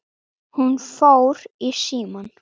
Hún fór í símann.